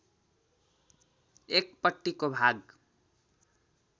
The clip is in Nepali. एकपट्टिको भाग